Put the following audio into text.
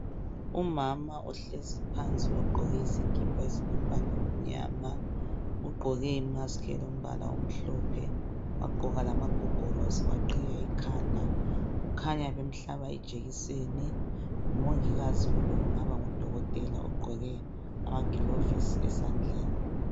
Umama ohlezi phansi ogqoke isikipa esilombala omnyama. Ugqoke imaski elombala omhlophe wagqoka iqhiye lamagogorosi. Kukhanya bemhlaba ijekiseni ngimongikazi kumbe ngudokotela ogqoke amagilovisi esandleni.